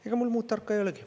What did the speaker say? Ega mul muud tarka ei olegi.